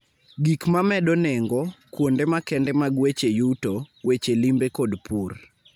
gik ma medo nengo, kuonde makende mag weche yuto, weche limbe kod pur.